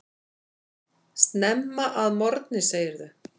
Snemma að morgni segirðu.